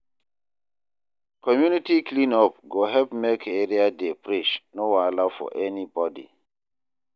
Community clean up go help make area dey fresh, no wahala for anybody.